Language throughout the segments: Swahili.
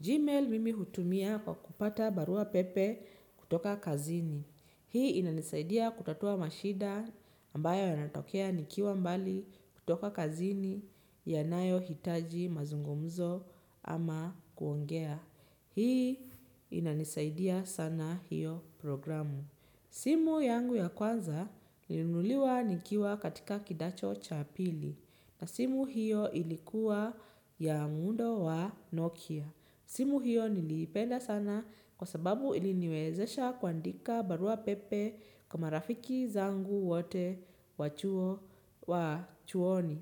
Gmail mimi hutumia kwa kupata barua pepe kutoka kazini. Hii inanisaidia kutatua mashida ambayo yanatokea nikiwa mbali kutoka kazini ya nayo hitaji mazungumzo ama kuongea. Hii inanisaidia sana hiyo programu. Simu yangu ya kwanza nili nuliwa nikiwa katika kidacho cha pili na simu hiyo ilikuwa ya mundo wa Nokia. Simu hiyo niliipenda sana kwa sababu iliniwezesha kuandika barua pepe kwa marafiki zangu wote wachuoni.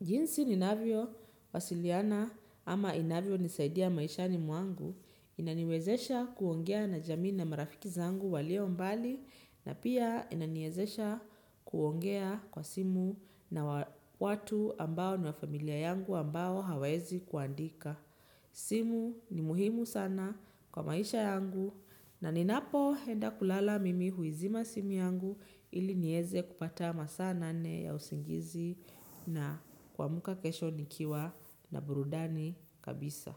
Jinsi ninavyo wasiliana ama inavyo nisaidia maisha ni mwangu inaniwezesha kuongea na jamii na marafiki zangu walio mbali na pia inaniezesha kuongea kwa simu na watu ambao niwa familia yangu ambao hawezi kuandika. Simu ni muhimu sana kwa maisha yangu na ninapo henda kulala mimi huizima simu yangu ili nieze kupata masana nane ya usingizi na kuamka kesho nikiwa na burudani kabisa.